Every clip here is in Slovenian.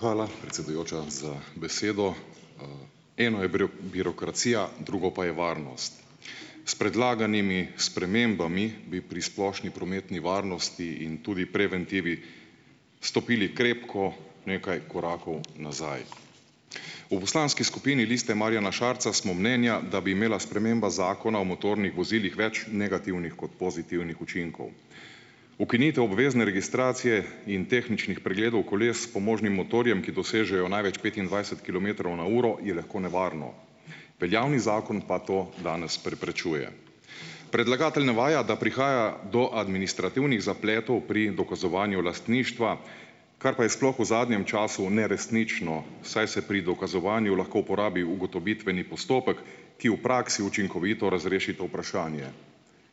Hvala, predsedujoča, za besedo. Eno je birokracija, drugo pa je varnost. S predlaganimi spremembami bi pri splošni prometni varnosti in tudi preventivi stopili krepko nekaj korakov nazaj. V poslanski skupini Liste Marjana Šarca smo mnenja, da bi imela sprememba Zakona o motornih vozilih več negativnih kot pozitivnih učinkov. Ukinitev obvezne registracije in tehničnih pregledov koles s pomožnim motorjem, ki dosežejo največ petindvajset kilometrov na uro, je lahko nevarno. Veljavni zakon pa to danes preprečuje. Predlagatelj navaja, da prihaja do administrativnih zapletov pri dokazovanju lastništva, kar pa je sploh v zadnjem času neresnično, saj se pri dokazovanju lahko uporabi ugotovitveni postopek, ki v praksi učinkovito razreši to vprašanje,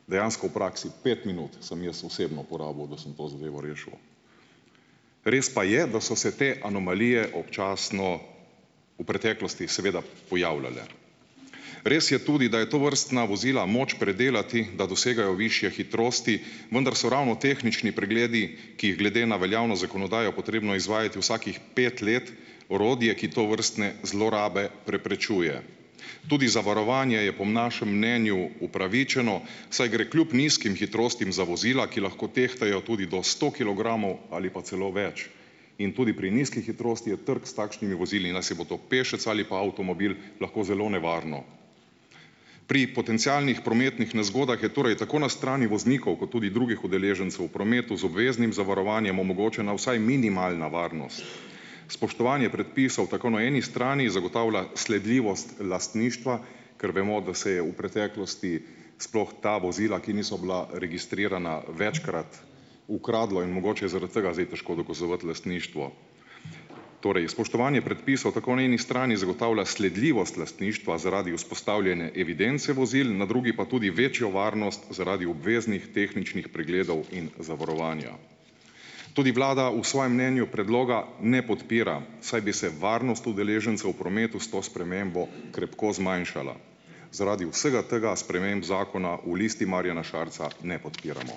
dejansko v praksi, pet minut sem jaz osebno porabil, da sem to zadevo rešil. Res pa je, da so se te anomalije občasno v preteklosti seveda pojavljale. Res je tudi, da je tovrstna vozila moč predelati, da dosegajo višje hitrosti, vendar so ravno tehnični pregledi, ki jih je glede na veljavno zakonodajo potrebno izvajati vsakih pet let, orodje, ki tovrstne zlorabe preprečuje. Tudi zavarovanje je po našem mnenju upravičeno, saj gre kljub nizkim hitrostim za vozila, ki lahko tehtajo tudi do sto kilogramov ali pa celo več, in tudi pri nizki hitrosti je trk s takšnimi vozili, najsi bo to pešec ali pa avtomobil, lahko zelo nevarno. Pri potencialnih prometnih nezgodah je torej tako na strani voznikov kot tudi drugih udeležencev v prometu z obveznim zavarovanjem omogočena vsaj minimalna varnost. Spoštovanje predpisov tako na eni strani zagotavlja sledljivost lastništva - ker vemo, da se je v preteklosti sploh ta vozila, ki niso bila registrirana, večkrat ukradlo in mogoče je zaradi tega zdaj težko dokazovati lastništvo -, torej spoštovanje predpisov tako na eni strani zagotavlja sledljivost lastništva zaradi vzpostavljene evidence vozil, na drugi pa tudi večjo varnost zaradi obveznih tehničnih pregledov in zavarovanja. Tudi vlada v svojem mnenju predloga ne podpira, saj bi se varnost udeležencev v prometu s to spremembo krepko zmanjšala. Zaradi vsega tega sprememb zakona v Listi Marjana Šarca ne podpiramo.